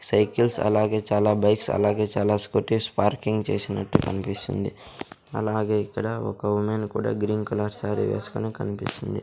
Cycles అలాగే చాలా bikes అలాగే చాలా స్కూటీస్ పార్కింగ్ చేసినట్టు కనిపిస్తుంది అలాగే ఇక్కడ ఒక ఉమెన్ కూడా గ్రీన్ కలర్ శారీ వేసుకుని కనిపిస్తుంది.